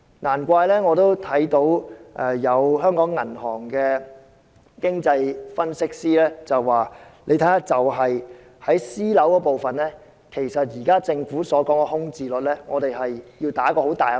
難怪我看到有香港銀行的經濟分析師表示，單看私人單位部分，對於政府現時所說的空置率，我們抱有很大的疑問。